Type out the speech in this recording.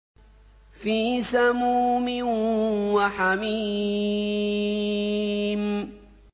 فِي سَمُومٍ وَحَمِيمٍ